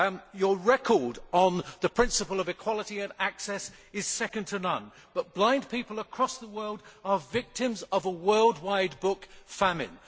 Your record on the principle of equality of access is second to none, but blind people across the world are victims of a worldwide book famine.